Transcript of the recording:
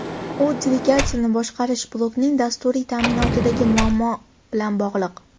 U dvigatelni boshqarish blokining dasturiy ta’minotidagi muammo bilan bog‘liq.